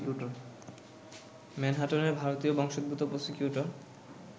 ম্যানহাটানের ভারতীয় বংশোদ্ভূত প্রসিকিউটর